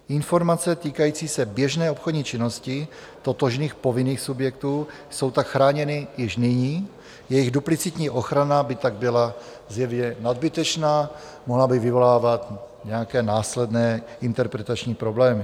Informace týkající se běžné obchodní činnosti totožných povinných subjektů jsou tak chráněny již nyní, jejich duplicitní ochrana by tak byla zjevně nadbytečná, mohla by vyvolávat nějaké následné interpretační problémy.